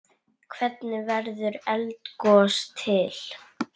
Hvernig verður eldgos til?